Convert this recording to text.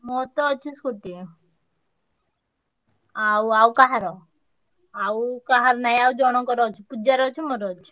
ମୋରତ ଅଛି scooty ଆଉ ଆଉ କାହାର ଆଉ କାହାର ନାଇଁ ଆଉ ଜଣଙ୍କର ଅଛି। ପୂଜାର ଅଛି ମୋର ଅଛି।